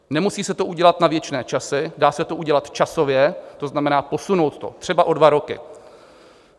Nemusí se to udělat na věčné časy, dá se to udělat časově, to znamená posunout to třeba o dva roky.